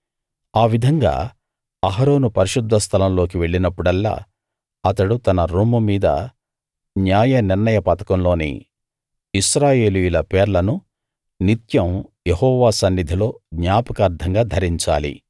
ఆ విధంగా అహరోను పరిశుద్ధ స్థలం లోకి వెళ్ళినప్పుడల్లా అతడు తన రొమ్ము మీద న్యాయనిర్ణయ పతకంలోని ఇశ్రాయేలీయుల పేర్లను నిత్యం యెహోవా సన్నిధిలో జ్ఞాపకార్థంగా ధరించాలి